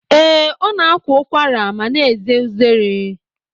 Ee, ọ na-akwa ụkwara ma na-eze uzere.